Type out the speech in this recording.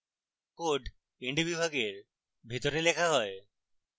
code end বিভাগের ভিতরে লেখা হয়